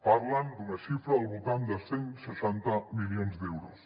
parlen d’una xifra al voltant de cent i seixanta milions d’euros